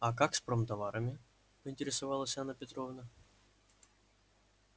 а как с промтоварами поинтересовалась анна петровна